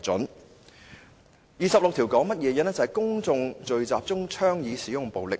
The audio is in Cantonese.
第26條是關乎公眾聚集中倡議使用暴力。